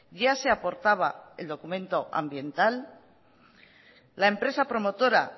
ya se aportaba el documento ambiental la empresa promotora